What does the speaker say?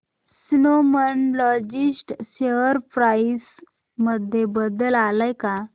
Snowman Logistics share price मध्ये बदल आलाय का